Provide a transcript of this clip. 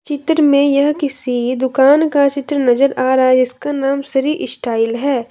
चित्र में यह किसी दुकान का चित्र नजर आ रहा है इसका नाम श्री स्टाइल है।